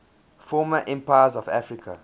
former empires of africa